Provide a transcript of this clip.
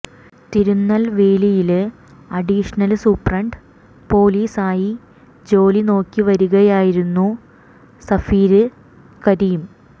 തിരുന്നല്വേലിയില് additional superintendent police ആയി ജോലി നോക്കി വരികയായിരുന്നു സഫീര് കരീം